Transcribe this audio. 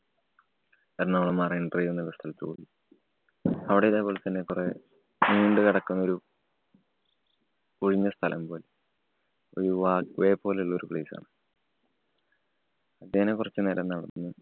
Ernakulam Marine Drive എന്ന സ്ഥലത്ത് പോയി. അവിടെ ഇതേപോലെ തന്നെ കുറെ നീണ്ടുകിടക്കുന്ന ഒരു ഒഴിഞ്ഞ സ്ഥലം പോല്‍ ഒരു walkway പോലുള്ളോരു place ആണ്. അത്യേന്നെ കൊറച്ചു നേരം നടന്നു.